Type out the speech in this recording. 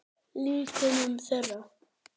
Líkömum þeirra.